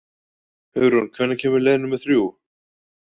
Hugrún, hvenær kemur leið númer þrjú?